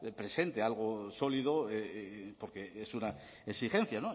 presente algo sólido porque es una exigencia